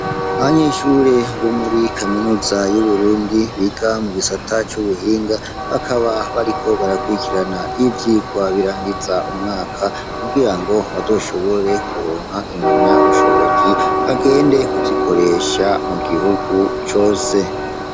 abanyeshure bo muri kaminuza yuburundi biga mu gisata cubuhinga bakaba bariko barakurikirana ivyigwa birangiza umwaka kugira ngo bazoshobore kuronka impamya ubushobozi bagende kuzikoresha mu gihugu cose